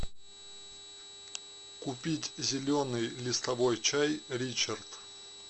купить зеленый листовой чай ричард